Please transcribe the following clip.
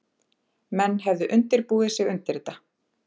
Menn hefðu undirbúið sig undir þetta